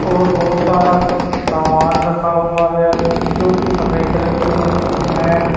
और बहुत सारा सामान रखा हुआ है जो कि सफेद रंग की वो है।